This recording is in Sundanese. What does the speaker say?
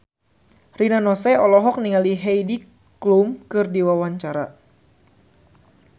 Rina Nose olohok ningali Heidi Klum keur diwawancara